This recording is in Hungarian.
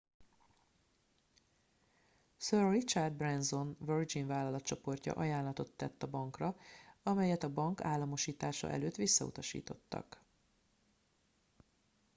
sir richard branson virgin vállalatcsoportja ajánlatot tett a bankra amelyet a bank államosítása előtt visszautasítottak